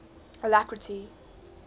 alacrity